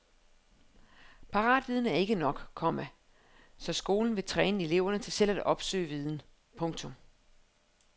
Paratviden er ikke nok, komma så skolen vil træne eleverne til selv at opsøge viden. punktum